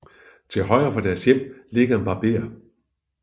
Til højre for deres hjem ligger en barber